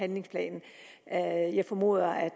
handlingsplanen jeg formoder at